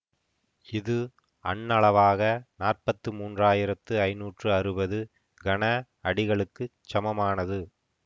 இது அண்ணளவாக நாற்பத்தி மூன்று ஆயிரத்தி ஐநூற்றி அறுபது கன அடிகளுக்குச் சமனானது